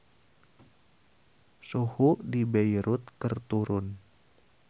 Suhu di Beirut keur turun